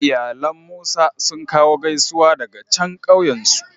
Iyalan Musa sun kawo gaisuwa daga can kauyen su.